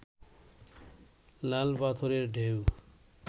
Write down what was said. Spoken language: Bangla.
লাল পাথরের ঢেউ